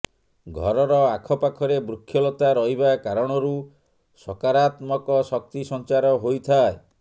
ଘରର ଆଖପାଖରେ ବୃକ୍ଷଲତା ରହିବା କାରଣରୁ ସକାରାତ୍ମକ ଶକ୍ତି ସଞ୍ଚାର ହୋଇଥାଏ